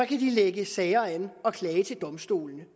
de anlægge sager og klage til domstolene